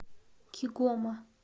кигома